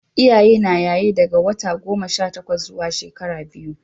Iyaye na yaye daga wata goma Sha takwas zuwa shekara biyu